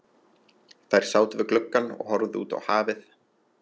Þær sátu við gluggann og horfðu út á hafið.